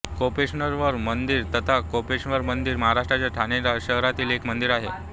कोपनेश्वर मंदिर तथा कौपिनेश्वर मंदिर महाराष्ट्राच्या ठाणे शहरातील एक मंदिर आहे